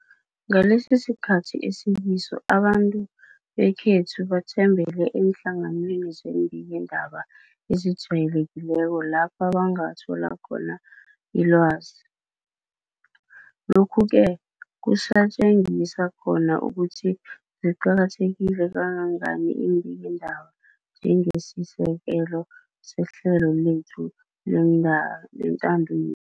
Ngalesisikhathi esikiso abantu bekhethu bathembele eenhlanganweni zeembikiindaba ezijayele kileko lapho bangathola khona ilwazi, lokhu-ke kusatjengisa khona ukuthi ziqakatheke kangangani iimbikiindaba njengesisekelo sehlelo lethu lentando yenengi.